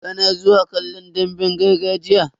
Kana zuwa kallon damben gargajiya?